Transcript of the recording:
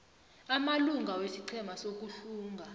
amalunga wesiqhema sokuhlunga